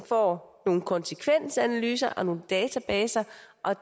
får nogle konsekvensanalyser og nogle databaser